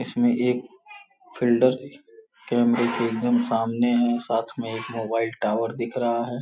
इसमें एक फिल्डर कैमरे के एकदम सामने है साथ में एक मोबाइल टावर दिख रहा है।